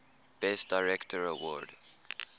best director award